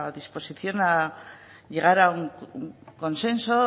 disposición a llegar a un consenso